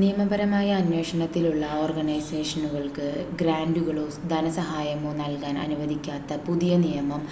നിയമപരമായ അന്വേഷണത്തിലുള്ള ഓർഗനൈസേഷനുകൾക്ക് ഗ്രാൻ്റുകളോ ധനസഹായമോ നൽകാൻ അനുവദിക്കാത്ത പുതിയ നിയമം